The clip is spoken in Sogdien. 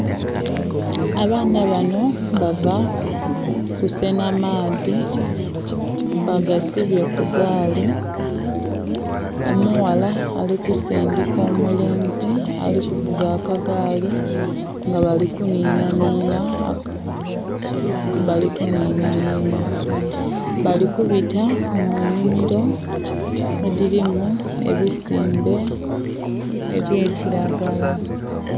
Abaana banho bava kusenha maadhi bagasibye kugaali, omughala alikusindhika, omulenzi ali kuvuga akagaali nga bali kunhinha nhinha. Bali kubita munhimiro edhilimu ebisimbe ebya kilagala.